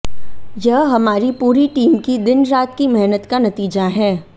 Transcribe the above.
यह हमारी पूरी टीम की दिन रात की मेहनत का नतीजा है